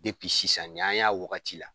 sisan nin y'an y'a wagati la.